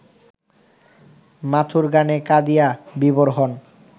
মাথুর গানে কাঁদিয়া বিভোর হন